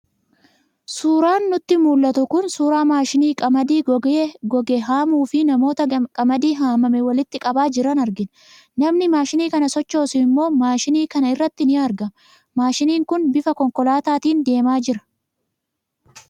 Suuraan nutti mul'atu kun suuraa maashinii qamadii goge haamuu fi namoota qamadii haamame walitti qabaa jiran argina. Namni maashinii kana sochoosu immoo maashinii kana irratti ni argama. Maashiniin kun bifa konkolaataatiin deemaa jira.